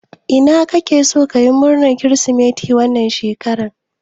Ina kake so kayi murnan kiristimeti wannan shekara?